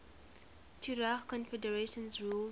tuareg confederations ruled